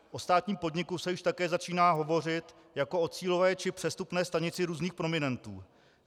O státním podniku se již také začíná hovořit jako o cílové či přestupní stanici různých prominentů.